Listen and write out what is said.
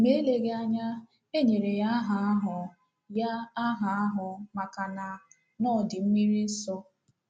Ma eleghị anya, e nyere ya aha ahụ ya aha ahụ maka na na ọ dị mmiri nso.